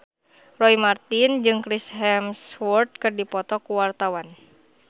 Roy Marten jeung Chris Hemsworth keur dipoto ku wartawan